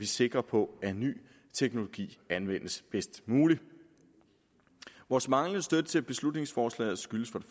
sikre på at ny teknologi anvendes bedst muligt vores manglende støtte til beslutningsforslaget skyldes for